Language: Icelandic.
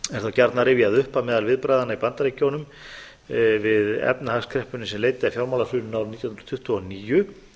gjarnan rifjað upp að meðal viðbragðanna í bandaríkjunum við efnahagskreppunni sem leiddi af fjármálahruninu árið nítján hundruð tuttugu og níu